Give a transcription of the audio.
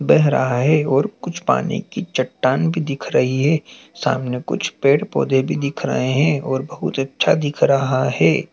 बेह रहा हैं और कुछ पानी की चट्टान भी दिख रही हैं सामने कुछ पेड़ पौधे भी दिख रहे हैं और बहुत अच्छा दिख रहा हैं।